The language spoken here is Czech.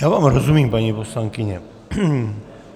Já vám rozumím, paní poslankyně.